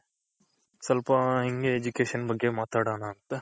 ಸ್ವಲ್ಪ ಹಿಂಗೆ Education ಬಗ್ಗೆ ಮಾತಡನ ಅಂತ?